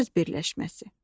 söz birləşməsi.